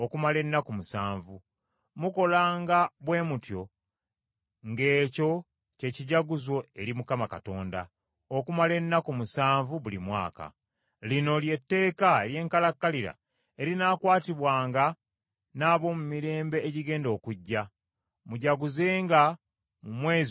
Mukolanga bwe mutyo ng’ekyo kye kijaguzo eri Mukama Katonda, okumala ennaku musanvu buli mwaka. Lino ly’etteeka ery’enkalakkalira erinaakwatibwanga n’ab’omu mirembe egigenda okujja; mujaguzenga mu mwezi ogw’omusanvu.